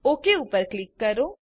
okay ઉપર click કરો